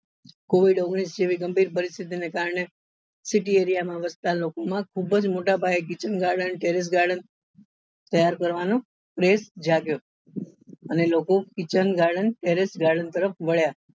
Covid ઓગણીસ જેવી ગંભીર પરિસ્થિતિ ને કારણે city area માં વસતા લોકો માં ખુબ જ મોટા પાયે kitchen garden terrace garden તૈયાર કરવા નો craze જાગ્યો અને લોકો kitchen garden terrace garden તરફ વળ્યા